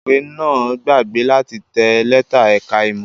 Atẹ̀wé náà gbàgbé láti tẹ lẹ́tà ẹ̀ka-ìmọ̀.